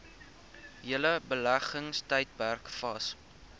hele beleggingstydperk vas